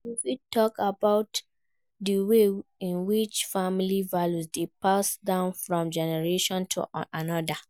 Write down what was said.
You fit talk about di way in which family values dey pass down from generation to another.